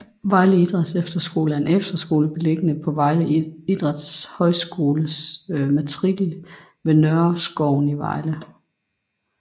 Vejle Idrætsefterskole er en efterskole beliggende på Vejle Idrætshøjskoles matrikel ved Nørreskoven i Vejle